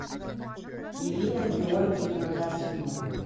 ирина георгиевна трофимова